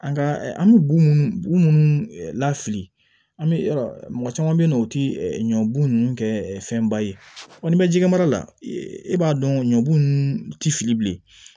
An ka an bɛ bugun minnu lafili an bɛ yɔrɔ caman be yen nɔ o tɛ ɲɔbugu ninnu kɛ fɛnba ye wa n'i bɛ jɛgɛ mara la e b'a dɔn ɲɔbugu ninnu tɛ fili bilen